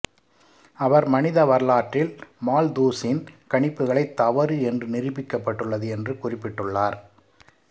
அவர் மனித வரலாற்றில் மால்தூஸின் கணிப்புகளை தவறு என்று நிரூபிக்கப்பட்டுள்ளது என்று குறிப்பிட்டுள்ளார்